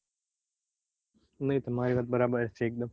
નઈ તમારી વાત બરાબર છે એકદમ.